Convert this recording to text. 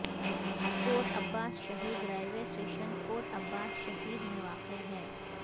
کوٹ Abbas Shaheed railway station Kot Abbas Shaheed میں واقع ہے